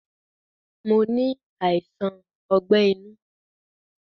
Mo ni àìsàn ogbẹ́ inú